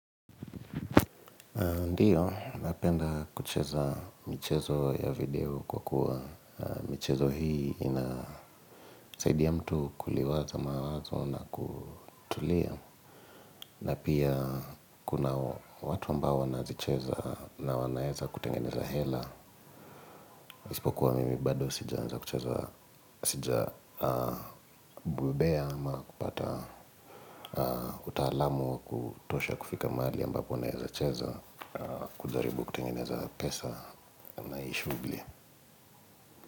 Ndiyo, napenda kucheza mchezo ya video kwa kuwa michezo hii inasaidia mtu kuliwaza mawazo na kutulia. Na pia, kuna watu ambao wanazicheza na wanaeza kutengeneza hela. Isipokuwa mimi bado sijaanza kucheza sija bobea ama kupata utaalamu wa kutosha kufika mahali ambapo naeza cheza kujaribu kutengeneza pesa ama hii shughuli.